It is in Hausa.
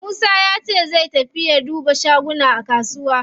Musa yace zai tafi duba shaguna a kusuwa.